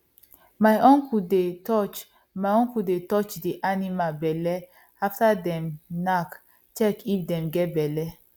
my uncle dey touch uncle dey touch the animal belle after them knack check if them get belle